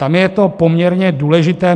Tam je to poměrně důležité.